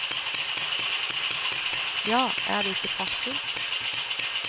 Ja, er det ikke praktfullt.